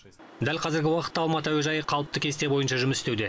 дәл қазіргі уақытта алматы әуежайы қалыпты кесте бойынша жұмыс істеуде